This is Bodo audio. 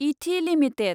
इथि लिमिटेड